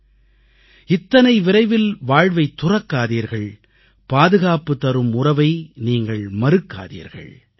 இத்தனை விரைவில் வாழ்வைத் துறக்காதீர்கள் பாதுகாப்பு தரும் உறவை நீங்கள் மறுக்காதீர்கள்